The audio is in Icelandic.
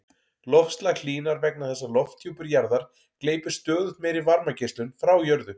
Loftslag hlýnar vegna þess að lofthjúpur jarðar gleypir stöðugt meiri varmageislun frá jörðu.